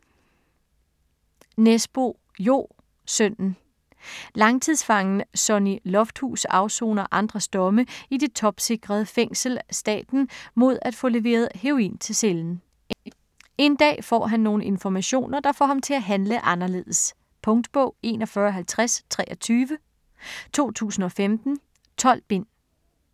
Nesbø, Jo: Sønnen Langtidsfangen Sonny Lofthus afsoner andres domme i det topsikrede fængsel Staten mod at få leveret heroin til cellen. En dag får han nogle informationer, der får ham til at handle anderledes. Punktbog 415023 2015. 12 bind.